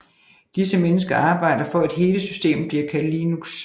Disse mennesker arbejder for at hele systemet bliver kaldt Linux